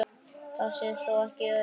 Það sé þó ekki öruggt.